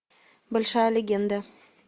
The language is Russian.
большая легенда